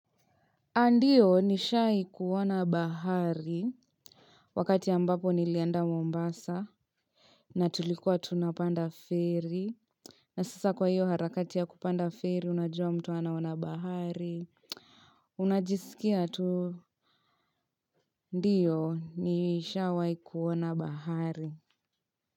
Ndiyo nishawahi kuona bahari. Wakati ambapo nilienda Mombasa. Na tulikuwa tunapanda ferry. Na sasa kwa hiyo harakati ya kupanda ferry unajua mtu anaona bahari. Unajisikia tu. Ndiyo nishawahi kuona bahari.